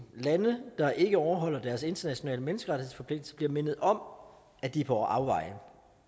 lande der ikke overholder deres internationale menneskerettighedsforpligtelser bliver mindet om at de er på afveje